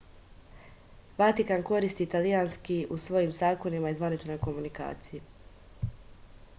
vatikan koristi italijanski u svojim zakonima i zvaničnoj komunikaciji